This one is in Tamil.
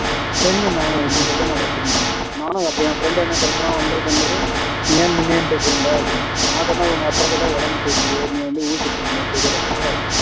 சரிங்க madam அப்டினு சொல்ட்டு வெச்சுட்டே நானு நானும் அப்புறம் என் friend என்ன சொல்றான் வந்து இதே மாதிரி ஏன் மின்னயே என்கிட்ட சொல்லலை அப்படின்னான் நான் சொன்னேன் உங்க அப்பாக்குதான் உடம்பு சரி இல்லையே நீ வந்து ஊசி போடணுமே sugar க்கு